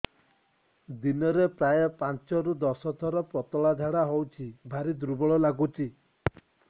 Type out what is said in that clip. ଦିନରେ ପ୍ରାୟ ପାଞ୍ଚରୁ ଦଶ ଥର ପତଳା ଝାଡା ହଉଚି ଭାରି ଦୁର୍ବଳ ଲାଗୁଚି